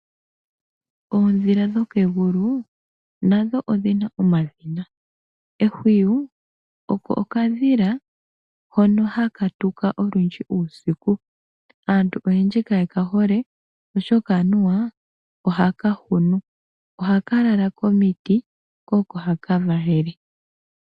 Oodhila dhokegulu nadho odhina omadhina. Ehwiyu oko okadhila hono hakatuka olundji uusiku. Aantu oyendji kayekahole oshoka anuwa ohaka hunu. Ohaka lala komiti kooko hakavalele.